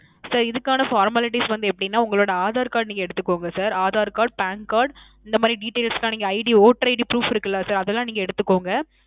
sir இதுக்கான formalities வந்து எப்பிடின்னா உங்களோட aadhar card நீங்க எடுத்துக்கோங்க sir. aadhar card, PANcard இந்த மாறி details எல்லாம் நீங்க IDVoterIDproof இருக்குல்ல sir, அதெல்லாம் நீங்க எடுத்துக்கோங்க